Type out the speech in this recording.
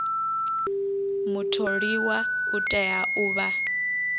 mutholiwa u tea u vha